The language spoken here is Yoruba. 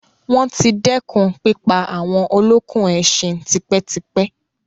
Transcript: Wọ́n ti dẹ́kun pípa àwọn olókùn ẹṣin tipẹ́ tipẹ́.